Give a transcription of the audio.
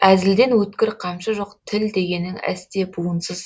әзілден өткір қамшы жоқ тіл дегенің әсте буынсыз